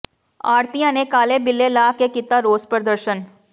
ਆੜ੍ਹਤੀਆਂ ਨੇ ਕਾਲੇ ਬਿੱਲੇ ਲਾ ਕੇ ਕੀਤਾ ਰੋਸ ਪ੍ਰਦਰਸ਼ਨ